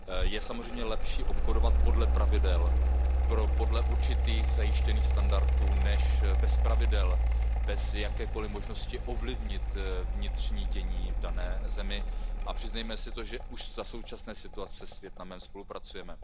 Je samozřejmě lepší obchodovat podle pravidel, podle určitých zajištěných standardů než bez pravidel, bez jakékoli možnosti ovlivnit vnitřní dění v dané zemi a přiznejme si to, že už za současné situace s Vietnamem spolupracujeme.